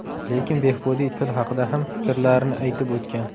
Lekin Behbudiy til haqida ham fikrlarini aytib o‘tgan.